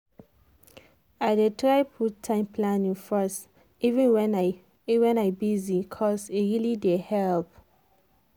i dey try put time planning first even when i when i busy cos e really dey help.